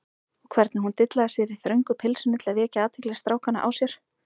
Og hvernig hún dillaði sér í þröngu pilsinu til að vekja athygli strákanna á sér!